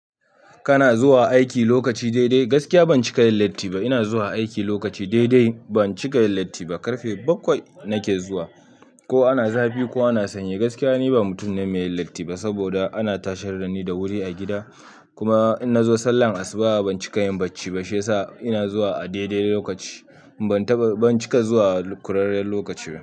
Kana zuwa aiki lokaci dai dai gaskiya ban ci ka yin latti ba. Ina zuwa aiki lokaci dai dai ban ci ka yin latti ba. Karfe bakwai nake zuwa ko ana zafi ko ana sanyi gaskiya ni ba mutum ne mai yin latti ba saboda ana tashar da ni da wuri a gida. Kuma in na zo sallar asuba ban ci ka yin bacci ba shiyasa ina zuwa a daidai lokaci. Ban taba, ban cika zuwa ƙurarren lokaci ba.